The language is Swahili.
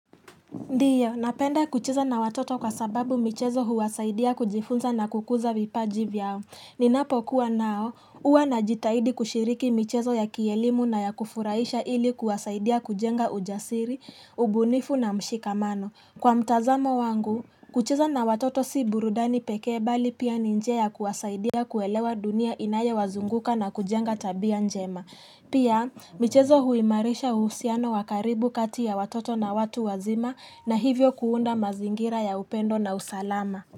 Ndiyo, napenda kucheza na watoto kwa sababu michezo huwasaidia kujifunza na kukuza vipaji vyao. Ninapokuwa nao, huwa najitaidi kushiriki michezo ya kielimu na ya kufuraisha ili kuwasaidia kujenga ujasiri, ubunifu na mshikamano. Kwa mtazamo wangu, kucheza na watoto si burudani pekee bali pia ni njia ya kuwasaidia kuelewa dunia inayowazunguka na kujenga tabia njema. Pia, michezo huimarisha uhusiano wa karibu kati ya watoto na watu wazima na hivyo kuunda mazingira ya upendo na usalama.